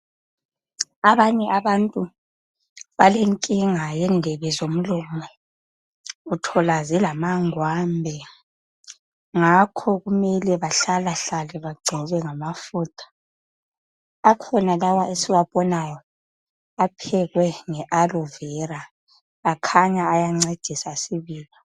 Abanye abantu balenkinga yendebe zomlomo. Uthola belamangwambe ngakho kumele bahlalahlale bagcobe ngamafutha. Akhona lawa esiwabonayo aphekwe nge alovera, akhanya ayancedisa sibili.